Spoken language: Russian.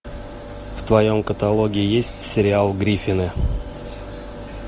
в твоем каталоге есть сериал гриффины